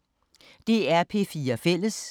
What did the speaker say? DR P4 Fælles